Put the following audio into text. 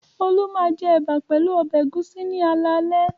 Olú máa jẹ ẹ̀bà pẹ̀lú ọbẹ̀ ẹ̀gúsí ní alaalẹ́.